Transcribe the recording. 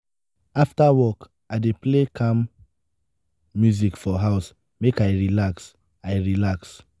afta work i dey play calm music for house make i relax. i relax.